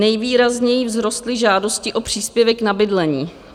Nejvýrazněji vzrostly žádosti o příspěvek na bydlení.